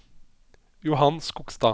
Johan Skogstad